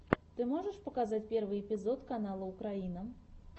ты можешь показать первый эпизод канала украина